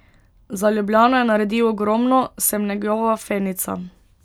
Za Ljubljano je naredil ogromno, sem njegova fenica.